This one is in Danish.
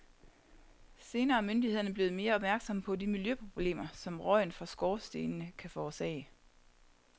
Senere er myndighederne blevet mere opmærksomme på de miljøproblemer, som røgen fra skorstenene kan forårsage.